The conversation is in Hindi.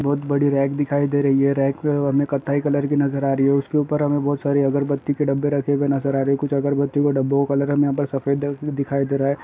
बहोत बड़ी रेक दिखाई दे रही है। रेक में हमे कथई कलर भी नजर आ रही है। उसके ऊपर हमें बहोत सारे अगरबत्ती के डब्बे रखे हुए नजर आ रहें हैं। कुछ अगरबत्ती के डब्बों का कलर हमें यहाँ पर सफेद दिखाई दे रहा है।